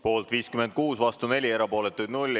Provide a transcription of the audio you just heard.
Poolt on 56 , vastu 4 ja erapooletuid 0.